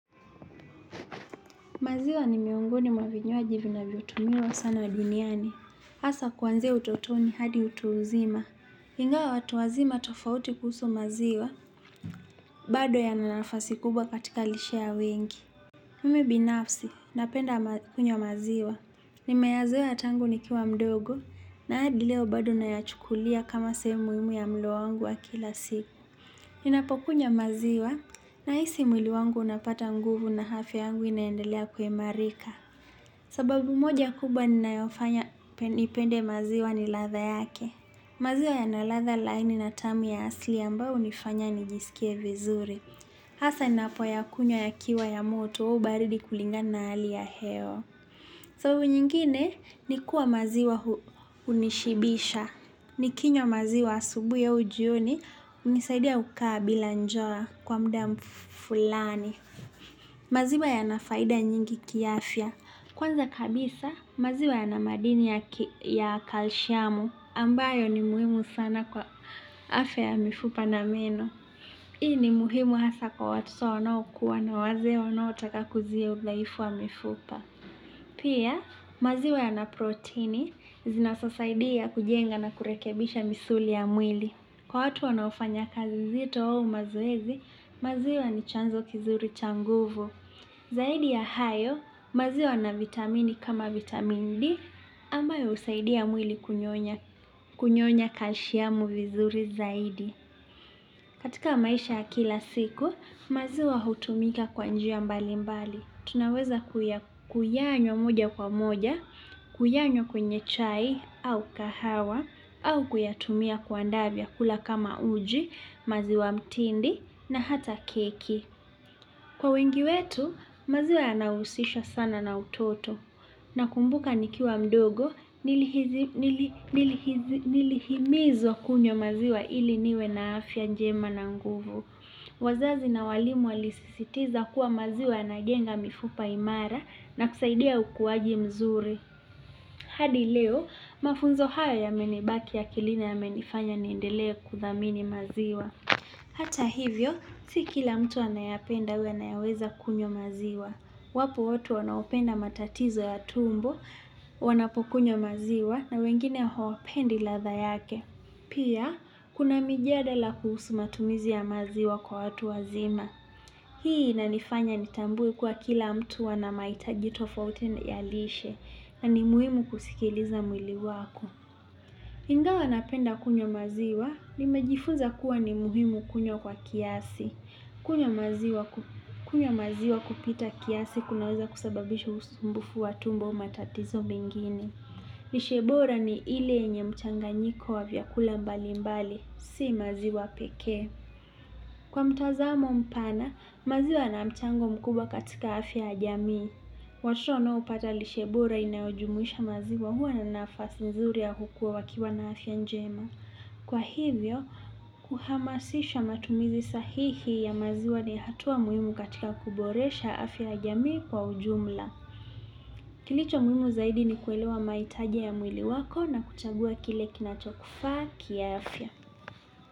Maziwa ni miongoni mwa vinywaji vinavyotumiwa sana duniani. Hasa kwanzia utotoni hadi utu uzima. Ingawa watu wazima tofauti kuhusu maziwa, bado yana nafasi kubwa katika lishe ya wengi. Mimi binafsi, napenda kunywa maziwa. Nimeyazoea tangu nikiwa mdogo, na hadi leo bado na yachukulia kama sehemu muhimu ya mlo wangu wa kila siku. Ninapokunywa maziwa, nahisi mwili wangu unapata nguvu na afya yangu inaendelea kuimarika. Sababu moja kubwa inayofanya nipende maziwa ni ladha yake. Maziwa yana ladha laini na tamu ya asli ambayo hunifanya nijisikie vizuri. Hasa ninapoyakunywa yakiwa ya moto au baridi kulingana na hali ya hewa. Sababu nyingine ni kuwa maziwa hunishibisha. Nikinywa maziwa asubuhi au jioni hunisaidia kukaa bila njaa kwa muda fulani. Maziwa yana faida nyingi kiafya. Kwanza kabisa, maziwa yana madini ya kalshiamu, ambayo ni muhimu sana kwa afya ya mifupa na meno. Hii ni muhimu hasa kwa watoto wanaokua na wazee wanaotaka kuzuia udhaifu wa mifupa. Pia, maziwa yana proteni, zinazosaidia kujenga na kurekebisha misuli ya mwili. Kwa watu wanaofanya kazi zito wa au mazoezi, maziwa ni chanzo kizuri cha nguvu. Zaidi ya hayo, maziwa yana vitamini kama vitamin D, ambayo husaidia mwili kunyonya kalshiamu vizuri zaidi. Katika maisha kila siku, maziwa hutumika kwa njia mbali mbali. Tunaweza kuyanywa moja kwa moja, kuyanywa kwenye chai, au kahawa, au kuyatumia kuandaa vyakula kama uji, maziwa mtindi, na hata keki. Kwa wengi wetu, maziwa yanahusisha sana na utoto. Nakumbuka nikiwa mdogo nilihimizwa kunywa maziwa ili niwe na afya njema na nguvu. Wazazi na walimu walisisitiza kuwa maziwa yanajenga mifupa imara na kusaidia ukuaji mzuri. Hadi leo, mafunzo haya yamenibaki akilina na yamenifanya niendelee kuthamini maziwa. Hata hivyo, si kila mtu anayapenda au anayeweza kunywa maziwa. Wapo watu wanaopenda matatizo ya tumbo, wanapokunywa maziwa, na wengine hawapendi ladha yake. Pia, kuna mijadala kuhusu matumizi ya maziwa kwa watu wazima. Hii inanifanya nitambue kuwa kila mtu ana mahitaji tofauti ya lishe na ni muhimu kusikiliza mwili wako. Ingawa napenda kunywa maziwa, nimejifunza kuwa ni muhimu kunywa kwa kiasi. Kunywa maziwa kupita kiasi kunaweza kusababisha usumbufu wa tumbo matatizo menginie. Lishiebora ni ile yenye mchanganyiko wa vyakula mbali mbali, si maziwa peke. Kwa mtazamo mpana, maziwa yana mchango mkubwa katika afya ya jamii. Watoto wanaopata lishe bora inayojumuisha maziwa huwa na nafasi mzuri ya kukua wakiwa na afya njema. Kwa hivyo, kuhamasisha matumizi sahihi ya maziwa ni hatua muhimu katika kuboresha afya ya jamii kwa ujumla. Kilicho muhimu zaidi ni kuelewa mahitaji ya mwili wako na kuchagua kile kinacho kufaa kiafya.